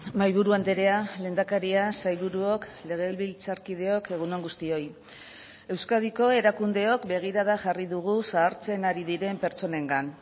mahaiburu andrea lehendakaria sailburuok legebiltzarkideok egun on guztioi euskadiko erakundeok begirada jarri dugu zahartzen ari diren pertsonengan